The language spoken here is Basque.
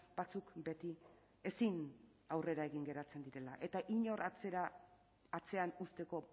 batzuek beti ezin aurrera egin geratzen direla eta inor atzean uzteko